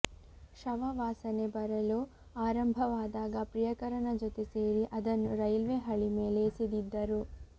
ಶವ ವಾಸನೆ ಬರಲು ಆರಂಭವಾದಾಗ ಪ್ರಿಯಕರನ ಜೊತೆ ಸೇರಿ ಅದನ್ನು ರೈಲ್ವೆ ಹಳಿ ಮೇಲೆ ಎಸೆದಿದ್ದರು